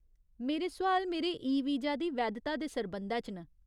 मेरे सोआल मेरे ईवीजा दी वैधता दे सरबंधै च न।